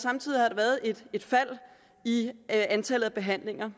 samtidig har været et et fald i antallet af behandlinger